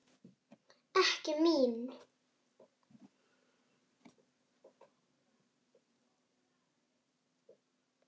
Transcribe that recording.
Ekki mín.